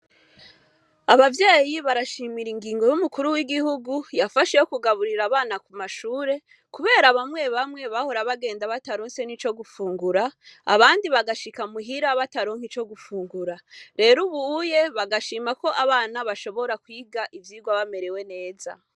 Abavyeyi barashimira ingingo y’umukuru w’igihugu yafashe yo kugaburira abana ku mashure kuberaba bamwe bamwe bahora bagenda bataronse n'ico gufungura, abandi bagashika muhira bataronka ico gufungura. Rero ubu bagashima ko abana bashobora kwiga ivyigwa bamerewe neza.